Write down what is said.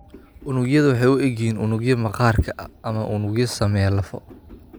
Unugyadu waxay u eg yihiin unugyo maqaarka ama unugyo sameeya lafo.